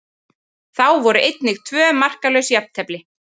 Þá voru einnig tvö markalaus jafntefli.